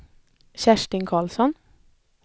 Kerstin Carlsson